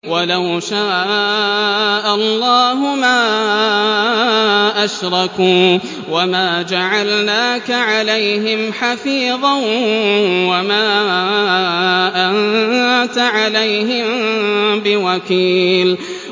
وَلَوْ شَاءَ اللَّهُ مَا أَشْرَكُوا ۗ وَمَا جَعَلْنَاكَ عَلَيْهِمْ حَفِيظًا ۖ وَمَا أَنتَ عَلَيْهِم بِوَكِيلٍ